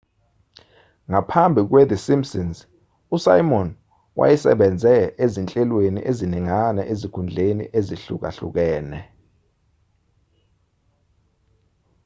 ngaphambi kwethe simpsons usimon wayesebenze ezinhlelweni eziningana ezikhundleni ezihlukahlukene